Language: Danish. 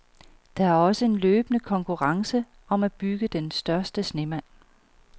Der er også en løbende konkurrence om at bygge den største snemand.